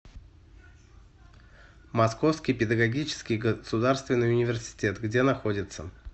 московский педагогический государственный университет где находится